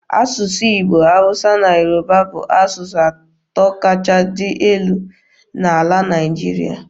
Asụsụ Igbo, Hausa na Yoruba bụ asụsụ atọ kachasị dị elu n'ala Naịjirịa.